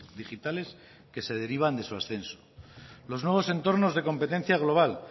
digitales que se derivan de sus ascenso los nuevos entornos de competencia global